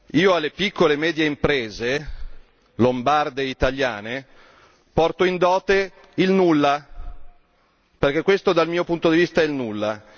Io alle piccole e medie imprese, lombarde e italiane, porto in dote il nulla, perché il risultato conseguito, dal mio punto di vista è il nulla.